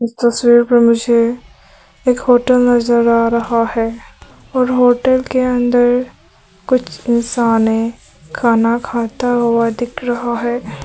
तस्वीर पर मुझे एक होटल नजर आ रहा है और होटल के अंदर कुछ इंसान है खाना खाता हुआ दिख रहा है।